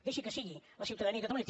deixi que sigui la ciutadania de catalunya